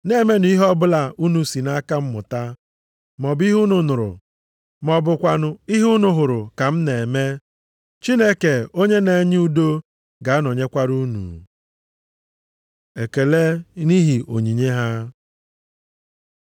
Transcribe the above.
Na-emenụ ihe ọbụla unu si nʼaka m mụta, maọbụ ihe unu nụrụ, ma ọ bụkwanụ ihe unu hụrụ m ka m na-eme. Chineke onye na-enye udo ga-anọnyekwara unu. Ekele nʼihi Onyinye ha